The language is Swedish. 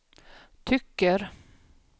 tycker